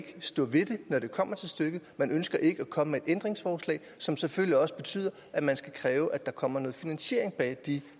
stå ved den når det kommer til stykket man ønsker ikke at komme ændringsforslag som selvfølgelig også betyder at man skal kræve at der kommer noget finansiering bag de